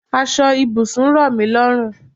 Aṣọ ibùsùn rọmi lọrun